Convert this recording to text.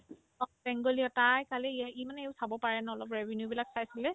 অ, বেংগলী হয় তাই কালি ইয়া ইমানেও খাব পাৰে ন অলপ reviews বিলাক চাইছিলে